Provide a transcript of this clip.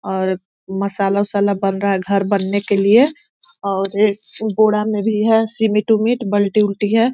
और मसाला वुसाला बन रहा है घर बनने के लिए और ये बोड़ा में भी है सीमेंट उमेट बाल्टी-वल्टी है।